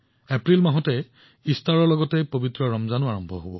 এপ্ৰিলত ইষ্টাৰ আৰু ৰমজানৰ পবিত্ৰ দিনো আৰম্ভ হয়